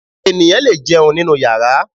Ènìyàn lè jẹun nínú yàrá